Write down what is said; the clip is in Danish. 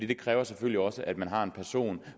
det kræver selvfølgelig også at man har en person